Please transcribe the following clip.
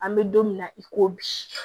An bɛ don min na i ko bi